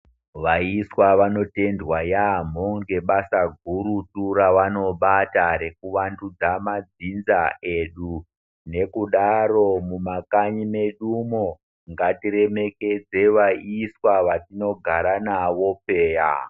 Vaiswa vanotendwa yaamho ngebasa gurutu revanobata rekuvandudza madzinza edu nekudaro mumakanyi medumwo ngatirwmekedze vaiswa vetinogara navo peya.